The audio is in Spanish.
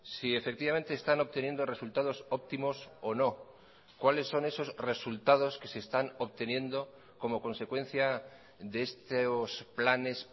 si efectivamente están obteniendo resultados óptimos o no cuáles son esos resultados que se están obteniendo como consecuencia de estos planes